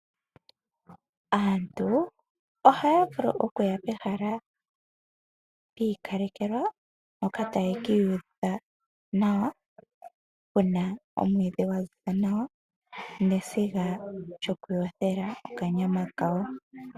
Aantu ohaya vulu okuya pehala lya ikalekelwa, mpoka taya ka iyuvitha nawa, pena omwiidhi gwa ziza nawa neziga lyoku yothela okanyama kawo.